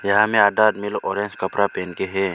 यहां में आधा आदमी लोग ऑरेंज कपड़ा पहन के है।